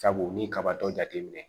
Sabu ni kabatɔ jateminɛ